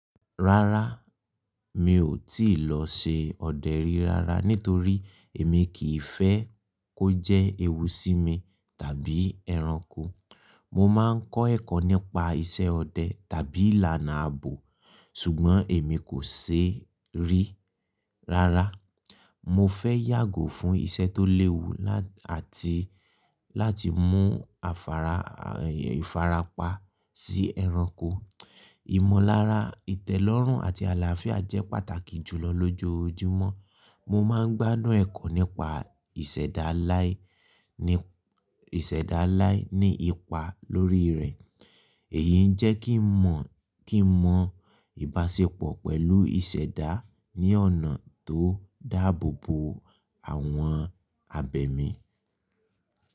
Rárá, mi ò tíì lọ ṣe ọdẹ rí rárá nítorí èmi kì í fẹ́ kó jẹ́ ewu sí mi tàbí ẹranko. Mo máa ń kọ́ ẹ̀kọ́ nípa iṣẹ́ ọdẹ tàbí ìlànà ààbò, ṣùgbọ́n èmi kò ṣe rí rárá. Mo fẹ́ yàgò fún iṣẹ́ tó léwu àti láti mú ifara pa sí ẹranko. Ìmọ̀lára, ìtẹ́lọ́rùn àti àlàáfíà jẹ́ pàtàkì jùlọ lójoojúmọ́. Mo máa ń gbádùn ẹ̀kọ́ nípa ìṣẹ̀dálái ní ipa lórí rẹ̀. Èyí ń jẹ́ kí n mọ ìbáṣepọ̀ pẹ̀lú ìṣẹ̀dá ní ọ̀nà tó dáàbò bo àwọn abẹ̀mí.